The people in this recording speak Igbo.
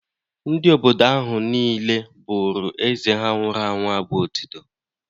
Ndị obodo ahụ niile bụrụ Eze ha nwụrụ anwụ abụ otito.